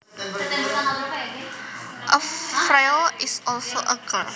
A frail is also a girl